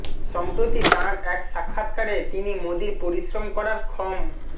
সম্প্রতি তাঁর এক সাক্ষাৎকারে তিনি মোদীর পরিশ্রম করার ক্ষম